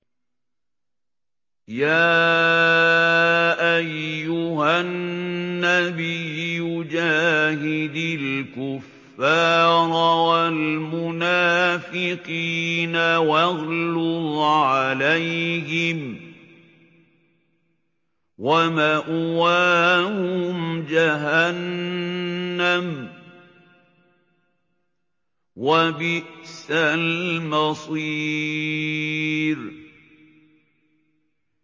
يَا أَيُّهَا النَّبِيُّ جَاهِدِ الْكُفَّارَ وَالْمُنَافِقِينَ وَاغْلُظْ عَلَيْهِمْ ۚ وَمَأْوَاهُمْ جَهَنَّمُ ۖ وَبِئْسَ الْمَصِيرُ